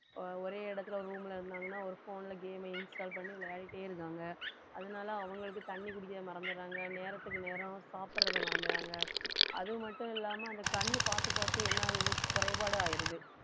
அஹ் ஒரே இடத்துல ஒரு room இருந்தாங்கன்னா ஒரு phone ல game install பண்ணி விளையாடிட்டே இருக்காங்க அதனால அவங்களுக்கு தண்ணி குடிக்க மறந்திடுறாங்க நேரத்துக்கு நேரம் சாப்பிடுறதை மறந்துடுறாங்க அது மட்டும் இல்லாம அந்த கண்ணு பார்த்து பார்த்து என்ன ஆகுது குறைபாடு ஆயிடுது